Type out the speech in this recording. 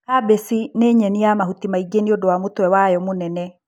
kabeci nĩnyeni ya mahuti maingi nĩũndũ wa mũtwe wayo mũnene.